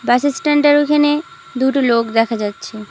বাসস্ট্যান্ডের ঐখানে দুটো লোক দেখা যাচ্ছে।